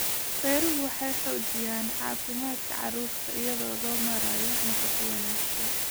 Beeruhu waxay xoojiyaan caafimaadka carruurta iyadoo loo maraayo nafaqo wanaagsan.